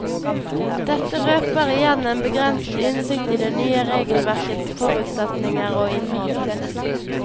Dette røper igjen en begrenset innsikt i det nye regelverkets forutsetninger og innhold.